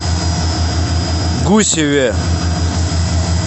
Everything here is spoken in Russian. гусеве